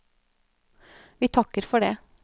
Vi takker for det.